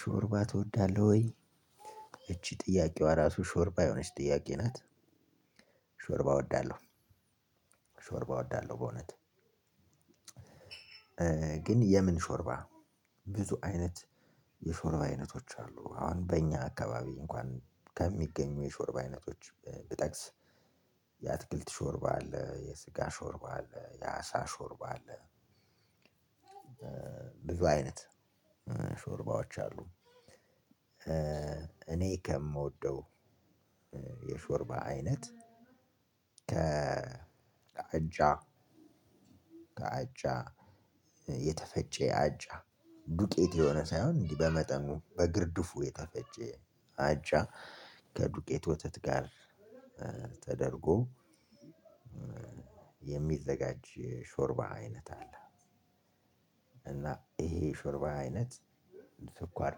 ሾርባ ትወዳለሁ ወይ እቺ ጥያቄዋ ራሱ ሾርባ የሆነች ጥያቄ ናት። ሾርባ እወዳለሁ። ሾርባ እወዳለሁ በእውነት። ግን የምን ሾርባ ብዙ አይነት የሾርባ አይነቶች አሉ። አሁን በእኛ አካባቢ እንኳን ከሚገኙ የሾርብ አይነቶች ብጠቅስ የአትክልት ሾርባ አለ የስጋ ሾርባ አለ የአሳ ሾርባ አለ። ብዙ አይነት ሾርባዎች አሉ። እኔ ከምወደው የሾርባ አይነት ከአጃ ከአጃ የተፈጨ አጃ ዱቄት የሆነ ሳይሆን በመጠኑ በግርድፉ የተፈጨ አጃ ከዱቄት ወተት ጋር ተደርጎ የሚዘጋጅ ሾርባ አይነት አለ። እና ይሄ ሾርባ አይነት ስኳር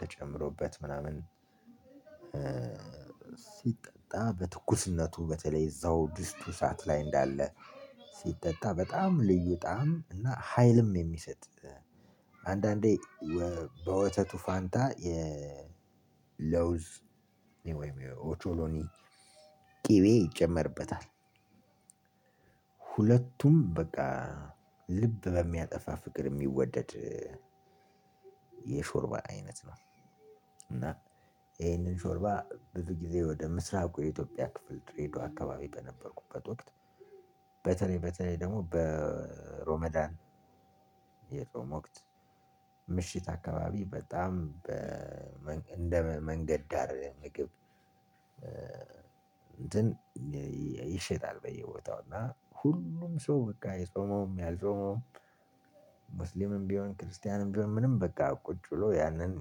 ተጨምሮበት ምናምን ሲጠጣ በትኩስነቱ በተለይ እዛው ድስቱ እሳት ላይ እንዳለ ሲጠጣ በጣም ልዩ ጣዕም እና ሀይልም የሚሰጥ አንዳንዴ በወተቱ ፋንታ የለውዝ ወይም ኦቾሎኒ ቅቤ ይጨመርበታል። ሁለቱም በቃ ልብ በሚያጠፋ ፍቅር የሚወደድ የሾርባ አይነት ነው። እና ይሄንን ሾርባ ብዙ ጊዜ ወደ ምስራቁ የኢትዮጵያ ክፍል ድሬደዋ አካባቢ በነበርኩበት ወቅት። በተለይ በተለይ ደግሞ በሮመዳን የጾም ወቅት ምሽት አካባቢ በጣም እንደ መንገድ ዳር ምግብ እንትን ይሸጣል። በየቦታው እና ሁሉም ሰው በቃ የጾመውም ያልጾመውም ሙስሊምም ቢሆን ክርስቲያንም ቢሆን ምንም በቃ ቁጭ ብሎ ያንን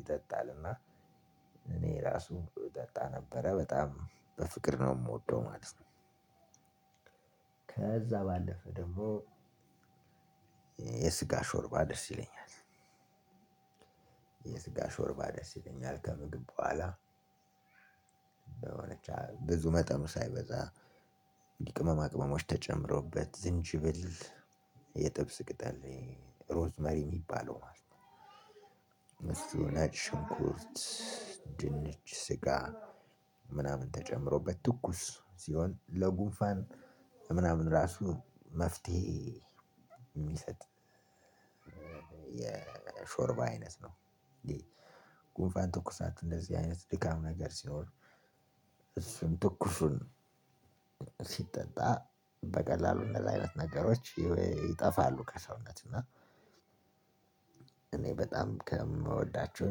ይጠጣልና። እኔ ራሱ ጠጣ ነበረ በጣም በፍቅር ነው የምወደው ማለት ነው። ከዛ ባለፈ ደግሞ የስጋ ሾርባ ደስ ይለኛል። የስጋ ሾርባ ደስ ይለኛል ከምግብ በኋላ ብዙ መጠኑ ሳይበዛ ቅመማ ቅመሞች ተጨምሮበት ዝንጅብል የጥብስ ቅጠል ሮዝ መሪ የሚባለው ማለት ነው። እሱ ነጭ ሽንኩርት ድንች ስጋ ምናምን ተጨምሮበት ትኩስ ሲሆን ለጉንፋን ምናምን ራሱ መፍትሄ የሚሰጥ። የሾርባ አይነት ነው። እንዴ? ጉንፋን ትኩሳት እንደዚህ አይነት ድካም ነገር ሲኖር እሱን ትኩሱን ሲጠጣ በቀላሉ እንደዚህ አይነት ነገሮች ይጠፋሉ ከሰውነት እና። እኔ በጣም ከምወዳቸው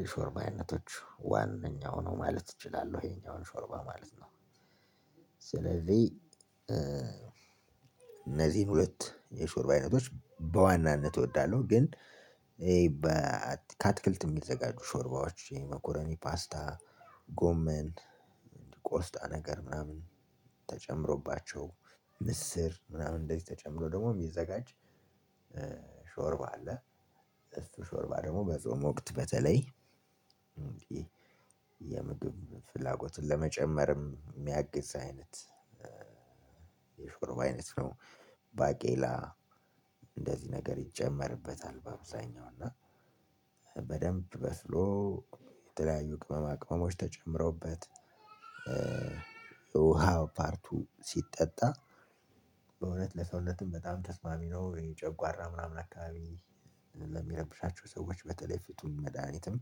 የሾርባ አይነቶች ዋነኛው ነው ማለት እችላለሁ ይሄኛውን ሾርባ ማለት ነው። ስለዚህ እነዚህን ሁለት የሾርባ አይነቶች በዋናነት እወዳለሁ። ግን ይሄ በአትክልት የሚዘጋጁ ሾርባዎች መኮረኒ ፓስታ ጎመን ቆስጣ ነገር ምናምን ተጨምሮባቸው ምስር ምናምን እንደዚህ ተጨምሮ ደግሞ የሚዘጋጅ ሾርባ አለ። እሱ ሾርባ ደግሞ በጾም ወቅት በተለይ የምግብን ፍላጎትን ለመጨመርም እሚያግዝ አይነት የሾርባ አይነት ነው። ባቄላ እንደዚህ ነገር ይጨመርበታል በአብዛኛው እና በደንብ በስሎ የተለያዩ ቅመማ ቅመሞች ተጨምረውበት የውሃ ፓርቱ ሲጠጣ በእውነት ለሰውነትም በጣም ተስማሚ ነው ይሄ ጨጓራ ምናምን አካባቢ ለሚረብሻቸው ሰዎች በተለይ ፍቱን መድሃኒትም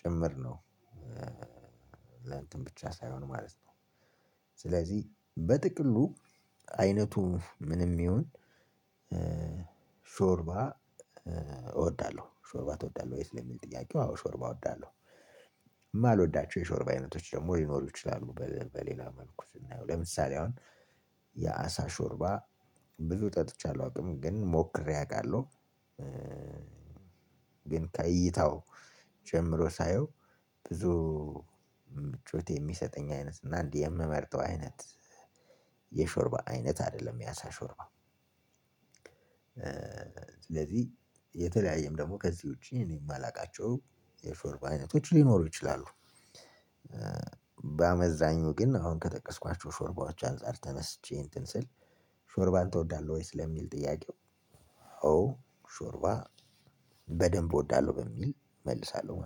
ጭምር ነው። ለእንትን ብቻ ሳይሆን ማለት ነው። ስለዚህ በጥቅሉ አይነቱ ምንም ይሁን ሾርባ እወዳለሁ። ሾርባ ትወዳለህ ወይ ስለሚል ጥያቄው አዎ ሾርባ እወዳለሁ። የማልወዳቸው የሾርባ አይነቶች ደግሞ ሊኖሩ ይችላሉ በሌላ መልኩ ስናየው ለምሳሌ አሁን የአሳ ሾርባ ብዙ ጠጥቼ አላውቅም ግን ሞክሬ አውቃለሁ። ግን ከእይታው ጀምሮ ሳየው ብዙ ምቾት የሚሰጠኝ አይነት እና እንዲህ የምመርጠው አይነት የሾርባ አይነት አይደለም የአሳ ሾርባ። ስለዚህ የተለያየም ደግሞ ከዚህ ውጪ እኔ የማላውቃቸው የሾርባ አይነቶች ሊኖሩ ይችላሉ። በአመዛኙ ግን አሁን ከጠቀስኳቸው ሾርባዎች አንፃር ተነስቼ እንትን ስል ሾርባን ትወዳለህ ወይስ ለሚል ጥያቄው ኦ ሾርባ በደንብ እወዳለሁ በሚል እመልሳለሁ